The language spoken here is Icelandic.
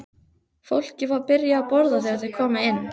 Fólkið var byrjað að borða þegar þeir komu inn.